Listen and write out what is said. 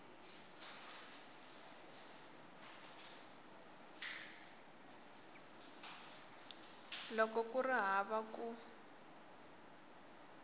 loko ku ri hava ku